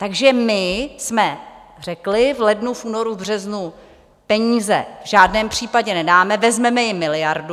Takže my jsme řekli v lednu, únoru, březnu: Peníze v žádném případě nedáme, vezmeme jim miliardu.